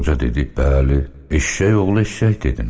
Qoca dedi: "Bəli, eşşək oğlu eşşək dedim."